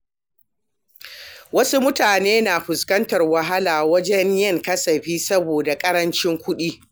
Wasu mutane na fuskantar wahala wajen yin kasafi saboda ƙarancin kuɗi.